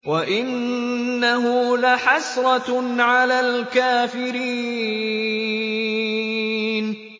وَإِنَّهُ لَحَسْرَةٌ عَلَى الْكَافِرِينَ